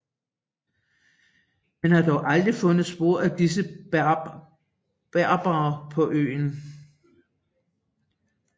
Man har dog aldrig fundet spor af disse berbere på øen